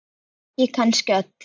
Ekki kannski öllu.